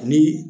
Ni